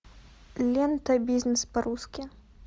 лента бизнес по русски